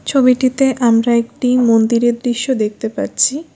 ছবিটিতে আমরা একটি মন্দিরের দৃশ্য দেখতে পাচ্ছি।